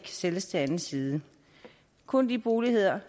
sælges til anden side kun de boligenheder